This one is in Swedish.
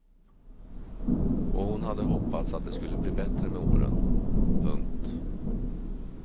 Och hon hade hoppats att det skulle bli bättre med åren. punkt